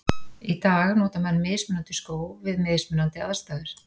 Í dag nota menn mismunandi skó við mismunandi aðstæður.